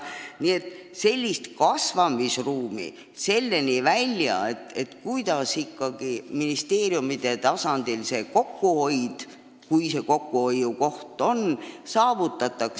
Nii et kasvamisruumi on – selle analüüsini välja, kuidas ikkagi ministeeriumide tasandil kokkuhoid oleks saavutatav.